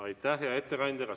Aitäh, hea ettekandja!